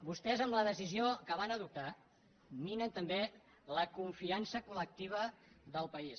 vostès amb la decisió que van adoptar minen també la confiança collectiva del país